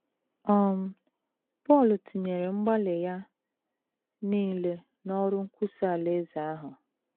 um Pọl tinyere mgbalị ya nile n’ọrụ nkwusa Alaeze ahụ